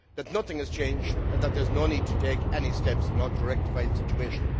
that nothing has changed and that there is no need to take any steps in order to rectify the situation.